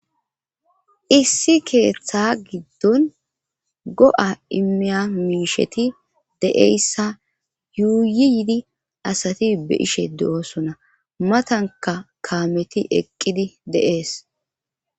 issi keeththa giddon go7a imiya miisheti de7eyssa yuuyi yidi asati be ishe de7oosona matanka kaameti eqqidi deees